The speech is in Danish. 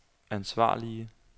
ansvarlige